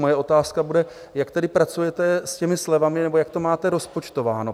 Moje otázka bude, jak tedy pracujete s těmi slevami, nebo jak to máte rozpočtováno?